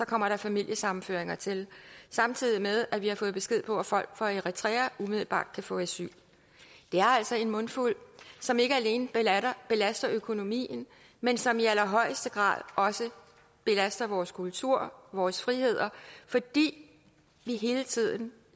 kommer familiesammenføringer til samtidig med at vi har fået besked på at folk fra eritrea umiddelbart kan få asyl det er altså en mundfuld som ikke alene belaster økonomien men som i allerhøjeste grad også belaster vores kultur vores friheder fordi vi hele tiden